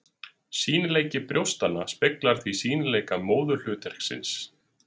Sýnileiki brjóstanna speglar því sýnileika móðurhlutverksins.